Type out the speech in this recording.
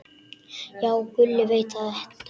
Já, Gulli veit þetta allt.